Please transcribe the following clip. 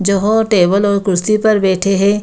जो हाॅट है वो लोग कुर्सी पर बैठे है।